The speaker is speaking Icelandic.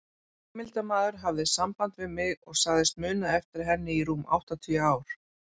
Heimildarmaður hafði samband við mig og sagðist muna eftir henni í rúm áttatíu ár.